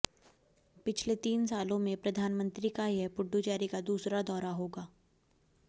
पिछले तीन सालों में प्रधानमंत्री का यह पुडुचेरी का दूसरा दौरा होगा